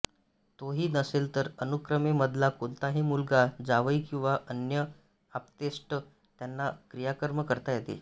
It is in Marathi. तोही नसेल तर अनुक्रमे मधला कोणताही मुलगा जावई किंवा अन्य आप्तेष्ट यांना क्रियाकर्म करता येते